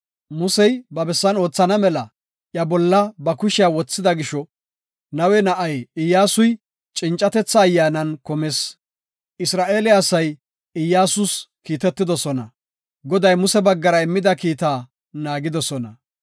Musey, ba bessan oothana mela, iya bolla ba kushiya wothida gisho, Nawe na7ay Iyyasuy cincatetha ayyaanan kumis. Isra7eele asay Iyyasus kiitetidosona; Goday Muse baggara immida kiita naagidosona.